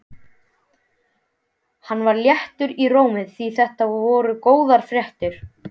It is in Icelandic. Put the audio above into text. Hann var léttur í rómi því þetta voru góðar fréttir.